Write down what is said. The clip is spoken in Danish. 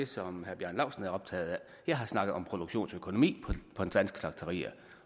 som herre bjarne laustsen er optaget af jeg har snakket om produktionsøkonomi på de danske slagterier